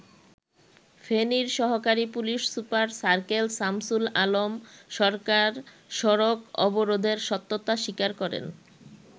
ফেনীর সহকারী police super circle Shamsul Alam Sarkar সড়ক অবরোধের সত্যতা স্বীকার করেন।